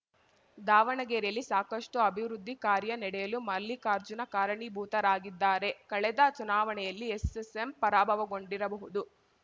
ದಾವಣಗೆರೆಯಲ್ಲಿ ಸಾಕಷ್ಟುಅಭಿವೃದ್ಧಿ ಕಾರ್ಯ ನಡೆಯಲು ಮಲ್ಲಿಕಾರ್ಜುನ ಕಾರಣೀಭೂತರಾಗಿದ್ದಾರೆ ಕಳೆದ ಚುನಾವಣೆಯಲ್ಲಿ ಎಸ್ಸೆಸ್ಸೆಂ ಪರಾಭವಗೊಂಡಿರಬಹುದು